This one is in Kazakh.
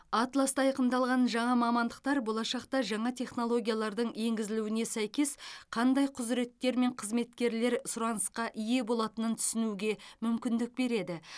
атласта айқындалған жаңа мамандықтар болашақта жаңа технологиялардың енгізілуіне сәйкес қандай құзыреттер мен қызметкерлер сұранысқа ие болатынын түсінуге мүмкіндік береді